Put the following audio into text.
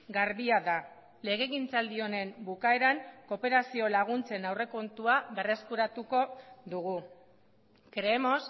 garbia da legegintzaldi honen bukaeran kooperazio laguntzen aurrekontua berreskuratuko dugu creemos